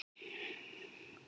Glottu báðir og annar sagði